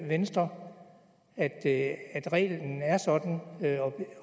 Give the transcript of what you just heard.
venstre at at reglen er sådan